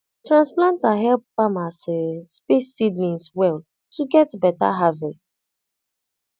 transplanter help farmers um space seedlings well to get better harvest